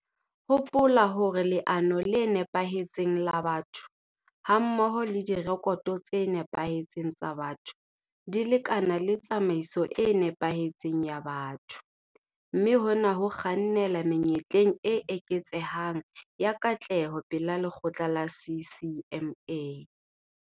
Hopola hore leano le nepahetseng la batho hammoho le direkoto tse nepahetseng tsa batho di lekana le tsamaiso e nepahetseng ya batho, mme hona ho kgannela menyetleng e eketsehang ya katleho pela lekgotla la CCMA.